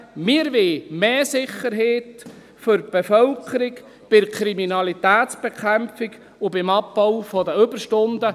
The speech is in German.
Wir wollen mehr Sicherheit für die Bevölkerung bei der Kriminalitätsbekämpfung und beim Abbau der Überstunden.